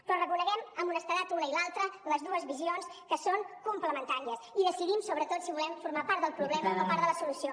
però reconeguem amb honestedat una i l’altra les dues visions que són complementàries i decidim sobretot si volem formar part del problema o part de la solució